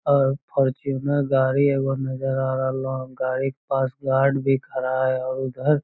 अ Fortuner गाड़ी एगो नजर आ रहलो हेय गाड़ी के पास गार्ड भी खड़ा हेय और उधर --